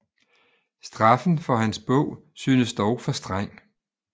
Straffen for hans bog synes dog for streng